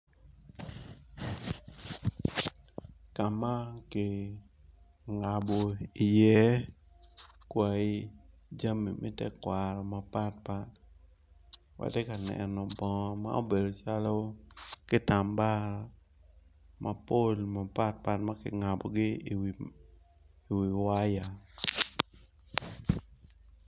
Kama kingabo i ye kwai jami me tekwaro atye ka neno bongo ma obedo calo kitamba mapol mapat pat makingabo i wi waya.